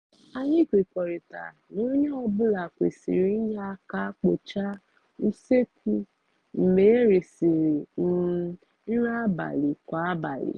anyị kwekọrịtara na onye ọ bụla kwerisịr inye aka kpochaa usekwu mgbe erisịrị um nri abalị kwa abalị